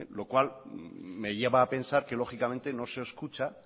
lo cual me lleva a pensar que lógicamente no se escucha